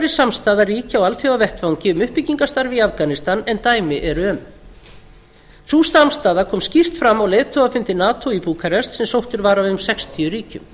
samstaða ríkja á alþjóðavettvangi um uppbyggingarstarf í afganistan en dæmi eru um sú samstaða kom skýrt fram á leiðtogafundi nato í búkarest sem sóttur var af um sextíu ríkjum